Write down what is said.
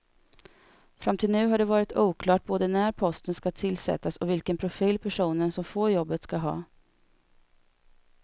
Fram till nu har det varit oklart både när posten ska tillsättas och vilken profil personen som får jobbet ska ha.